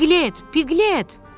Piqlet, Piqlet!